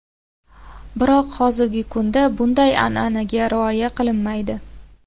Biroq hozirgi kunda bunday an’anaga rioya qilinmaydi.